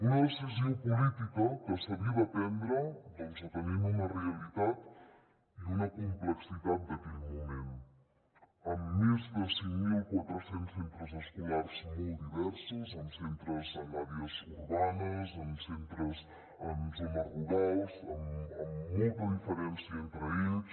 una decisió política que s’havia de prendre doncs atenent una realitat i una complexitat d’aquell moment amb més de cinc mil quatre cents centres escolars molt diversos amb centres en àrees urbanes amb centres en zones rurals amb molta diferència entre ells